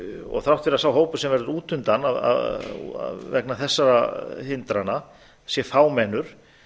og þrátt fyrir að sá hópur sem verður útundan vegna þessara hindrana sé fámennur